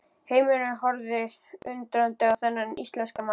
Heimurinn horfði undrandi á þennan íslenska mann.